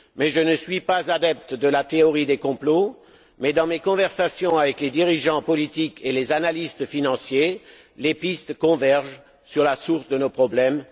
Je ne suis pas adepte de la théorie des complots mais dans mes conversations avec les dirigeants politiques et les analystes financiers, les pistes convergent sur la source de nos problèmes.